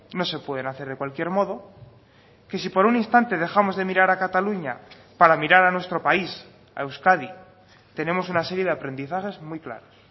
no se pueden hacer de cualquier modo que si por un instante dejamos de mirar a cataluña para mirar a nuestro país a euskadi tenemos una serie de aprendizajes muy claros